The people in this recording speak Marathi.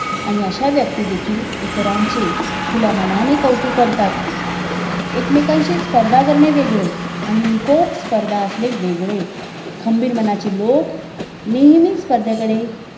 आणि अशा व्यक्ती देखील इतरांचे खुल्या मनाने कौतुक करतात एकमेकांशी स्पर्धा करणे वेगळे आणि निकोप स्पर्धा असणे वेगळे खंबीर मनाचे लोक नेहमीच स्पर्धेकडे